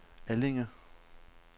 Allinge